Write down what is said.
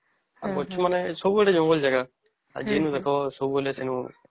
ଆଉ ଗଛ ମାନେ ସବୁ ଆଡେ ଜଙ୍ଗଲ ଜାଗା ଆଉ ଦେଖ ସବୁ ବୋଇଲେ ସେନା